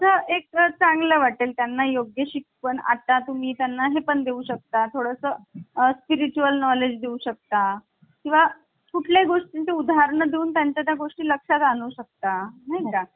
आता आपण या मतांचा अभ्यास करणार आहोत. पंडित ठाकूरदास भारडोह यांनी प्रस्तावनेला उत्कृष्ट ब्रद्यकाव्य म्हटलेल आहे. आता यातून बघू शकते पंडित काय म्हणण